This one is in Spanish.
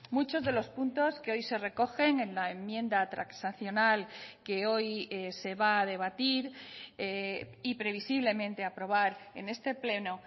muchos de los puntos que hoy se recogen en la enmienda transaccional que hoy se va a debatir y previsiblemente aprobar en este pleno